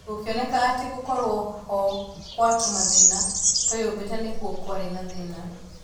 Gũkĩoneka atĩ gũkorũo ho kwa tũmathĩna tweyũmbĩte nĩkuo kwarĩ na thĩna